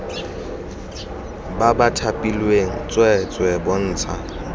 ba ba thapilweng tsweetswee bontsha